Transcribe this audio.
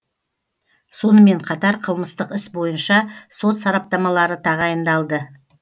сонымен қатар қылмыстық іс бойынша сот сараптамалары тағайындалды